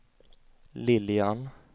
Lilian